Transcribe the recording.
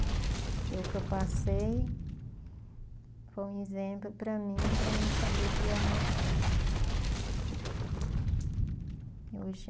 E o que eu passei foi um exemplo para mim, para mim saber criar meus filhos. Hoje